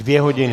Dvě hodiny?